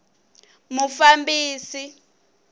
mufambisi